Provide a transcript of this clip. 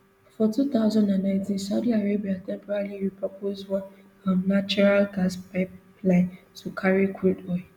for two thousand and nineteen saudi arabia temporarily repurpose one um natural gas pipeline to carry crude oil